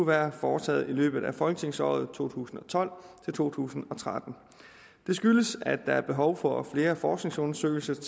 været foretaget i løbet af folketingsåret to tusind og tolv til to tusind og tretten det skyldes at der er behov for flere forskningsundersøgelser